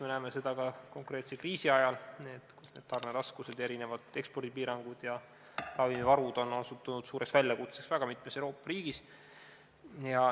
Me näeme ka praeguse kriisi ajal, et tarneraskused, mitmesugused ekspordipiirangud ja ravimivarud on osutunud suureks väljakutseks mitmes Euroopa riigis.